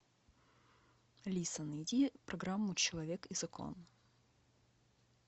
алиса найди программу человек и закон